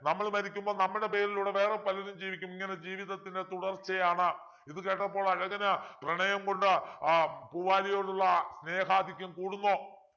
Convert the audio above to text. നമ്മൾ മരിക്കുമ്പോൾ നമ്മുടെ പേരിലൂടെ വേറെ പലരും ജീവിക്കും ഇങ്ങനെ ജീവിതത്തിൻ്റെ തുടർച്ചയാണ് ഇത് കേട്ടപ്പോൾ അഴകന് പ്രണയം കൊണ്ട് ഏർ പൂവാലിയോടുള്ള സ്നേഹാധിക്യം കൂടുന്നു